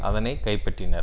அதனை கைப்பற்றினர்